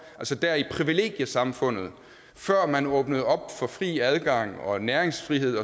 altså dér i privilegiesamfundet før man åbnede op for fri adgang og næringsfrihed